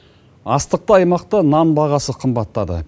астықты аймақта нан бағасы қымбаттады